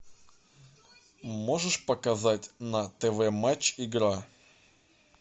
можешь показать на тв матч игра